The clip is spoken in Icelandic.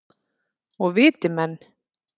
Og viti menn.